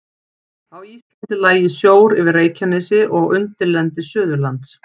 Á Íslandi lægi sjór yfir Reykjanesi og undirlendi Suðurlands.